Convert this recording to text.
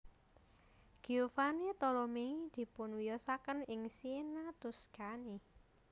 Giovanni Tolomei dipunwiyosaken ing Siena Tuscany